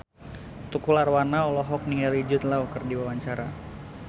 Tukul Arwana olohok ningali Jude Law keur diwawancara